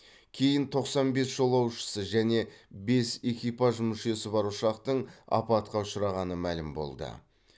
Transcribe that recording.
кейін тоқсан бес жолаушысы және бес экипаж мүшесі бар ұшақтың апатқа ұшырағаны мәлім болды